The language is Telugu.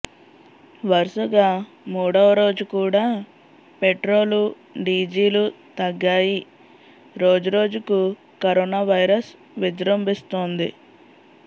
వరుసగా మూడవరోజుకూడా పెట్రోలు డీజీలు తగ్గాయి రోజురోజుకు కరోనా వైరస్ విజృంభిస్తోంది